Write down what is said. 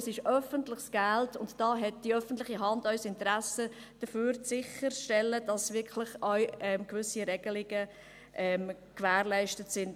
Es ist öffentliches Geld, und die öffentliche Hand hat ein Interesse daran, sicherzustellen, dass gewisse Regelungen wirklich auch gewährleistet sind.